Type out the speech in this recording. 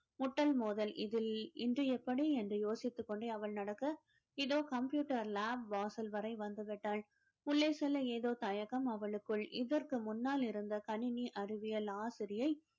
முட்டல் மோதல் இதில் இன்று எப்படி என்று யோசித்துக் கொண்டே அவள் நடக்க இதோ computer lab வாசல் வரை வந்துவிட்டால் உள்ளே செல்ல ஏதோ தயக்கம் அவளுக்குள் இதற்கு முன்னால் இருந்த கணினி அறிவியல் ஆசிரியை